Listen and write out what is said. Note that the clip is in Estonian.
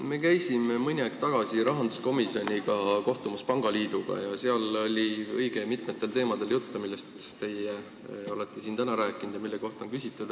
Me käisime mõni aeg tagasi rahanduskomisjoniga kohtumas pangaliiduga ja seal oli juttu õige mitmetest teemadest, millest teie siin täna rääkisite ja mille kohta on küsitud.